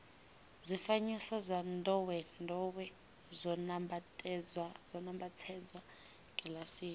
zwifanyiso zwa ndowendowe zwo nambatsedzwa kilasini